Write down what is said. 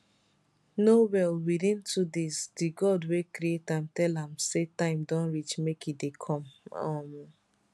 no well within two days days di god wey create am tell am say time don reach make e dey come um